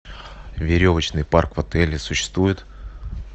веревочный парк в отеле существует